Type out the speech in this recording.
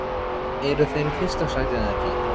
Eru þeir í fyrsta sæti eða ekki?